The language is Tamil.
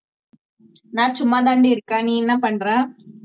நான் சும்மாதாண்டி இருக்கேன் நீ என்ன பண்ற